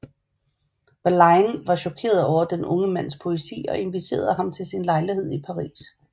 Verlaine var chokeret over den unge mands poesi og inviterede ham til sin lejlighed i Paris